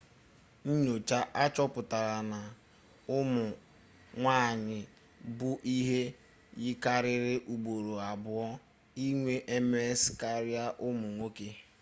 nnyocha achọpụtala na ụmụ nwanyị bụ ihe yikarịrị ugboro abụọ inwe ms karịa ụmụ nwoke